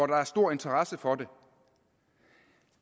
der er stor interesse for